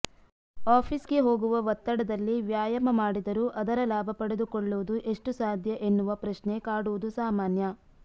ಆಫೀಸ್ಗೆ ಹೋಗುವ ಒತ್ತಡದಲ್ಲಿ ವ್ಯಾಯಾಮ ಮಾಡಿದರೂ ಅದರ ಲಾಭ ಪಡೆದುಕೊಳ್ಳುವುದು ಎಷ್ಟು ಸಾಧ್ಯ ಎನ್ನುವ ಪ್ರಶ್ನೆ ಕಾಡುವುದು ಸಾಮಾನ್ಯ